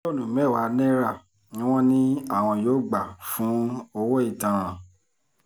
mílíọ̀nù mẹ́wàá náírà ni wọ́n ní àwọn yóò gbà fún owó ìtanràn